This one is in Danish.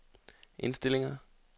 indstillinger